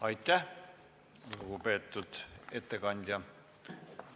Aitäh, lugupeetud ettekandja!